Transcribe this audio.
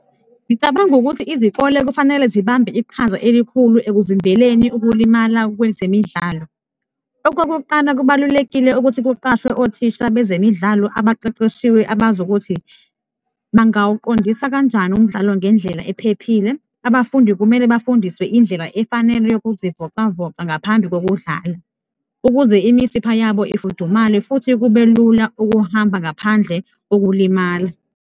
Ngicabanga ukuthi izikole kufanele zibambe iqhaza elikhulu ekuvimbeleni ukulimala kwezemidlalo. Okokuqala, kubalulekile ukuthi kuqashwe othisha bezemidlalo abaqeqeshiwe, abazi ukuthi bangawuqondisa kanjani umdlalo ngendlela ephephile. Abafundi kumele bafundiswe indlela efanele yokuzivocavoca ngaphambi kokudlala ukuze imisipha yabo ifudumale futhi kube lula ukuhamba ngaphandle kokulimala.